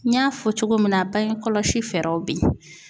N y'a fɔ cogo min na bange kɔlɔsi fɛɛrɛw bɛ ye.